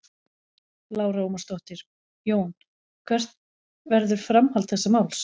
Lára Ómarsdóttir: Jón hvert verður framhald þessa máls?